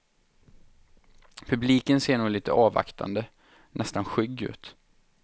Publiken ser nog lite avvaktande, nästan skygg ut.